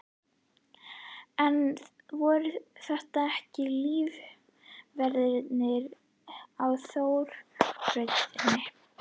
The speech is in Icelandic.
En voru þetta ekki lífverur á þróunarbrautinni?